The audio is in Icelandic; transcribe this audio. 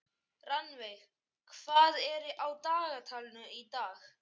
Rannveig, hvað er á dagatalinu í dag?